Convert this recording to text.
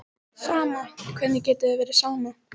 Sama, hvernig getur þér verið sama?